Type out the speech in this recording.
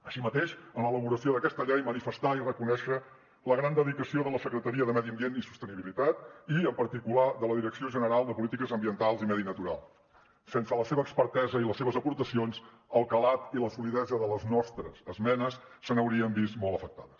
així mateix en l’elaboració d’aquesta llei manifestar i reconèixer la gran dedicació de la secretaria de medi ambient i sostenibilitat i en particular de la direcció general de polítiques ambientals i medi natural sense la seva expertesa i les seves aportacions el calat i la solidesa de les nostres esmenes s’haurien vist molt afectades